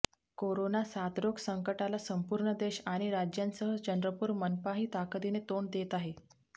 corona साथरोग संकटाला संपूर्ण देश आणि राज्यासह चंद्रपूर मनपाही ताकदीने तोंड देत आहे